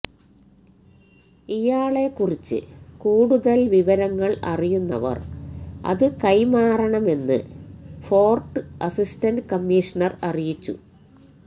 ഇയാളെക്കുറിച്ച് കൂടുതല് വിവരങ്ങള് അറിയുന്നവര് അത് കൈമാറണമെന്ന് ഫോര്ട്ട് അസിസ്റ്റന്റ് കമ്മീഷണര് അറിയിച്ചു